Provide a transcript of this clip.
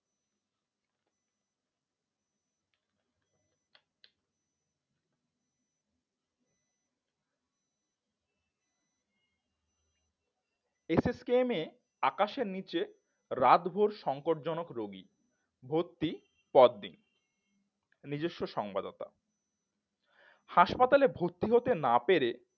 S S K M এ আকাশের নিচে রাতভর সংকট জনক রোগী ভর্তি পদ নেই নিজস্ব সংবদতা হাসপাতালে ভর্তি হতে না পেরে